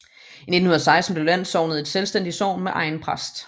I 1916 blev landsognet et selvstændigt sogn med egen præst